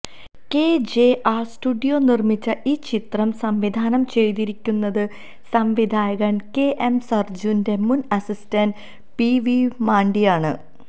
KJR studio നിർമ്മിച്ച ഈ ചിത്രം സംവിധാനം ചെയ്തിരിക്കുന്നത് സംവിധായകൻ കെഎം സർജുന്റെ മുൻ അസിസ്റ്റന്റ് പി വിരുമാണ്ടിയാണ്